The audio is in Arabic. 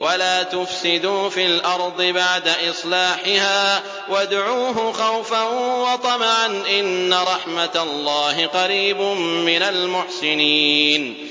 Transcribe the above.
وَلَا تُفْسِدُوا فِي الْأَرْضِ بَعْدَ إِصْلَاحِهَا وَادْعُوهُ خَوْفًا وَطَمَعًا ۚ إِنَّ رَحْمَتَ اللَّهِ قَرِيبٌ مِّنَ الْمُحْسِنِينَ